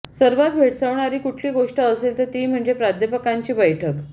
सर्वांत भेडसावणारी कुठली गोष्ट असेल तर ती म्हणजे प्राध्यापकांची बैठक